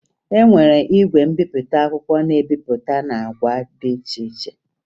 E nwere igwe mbipụta akwụkwọ na-ebipụta n'agba dị iche iche